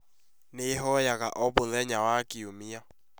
Nĩhoyaga o mũthenya wa Kiumia